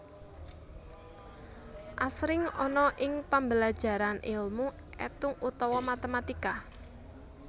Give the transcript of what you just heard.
Asring ana ing pambelajaran ilmu étung utawa matématika